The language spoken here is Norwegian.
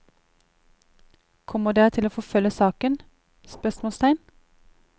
Kommer dere til å forfølge saken? spørsmålstegn